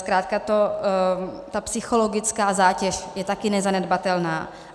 Zkrátka ta psychologická zátěž je také nezanedbatelná.